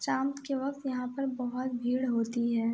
शाम के वक्त यहां पर बोहोत भीड़ होती है।